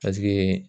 Paseke